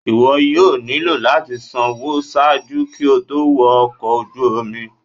iwọ yóò nilo lati sanwo ṣaaju ki o to wọ ọkọ oju omi